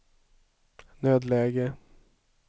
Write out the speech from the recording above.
nödläge